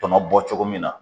Tɔnɔ bɔ cogo min na